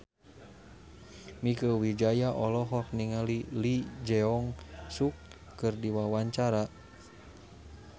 Mieke Wijaya olohok ningali Lee Jeong Suk keur diwawancara